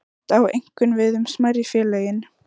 Þetta á einkum við um smærri félögin.